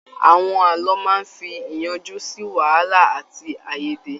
Àwọn ààlọ́ máa fí iyànjú sí wàhálà àti aiyèdè.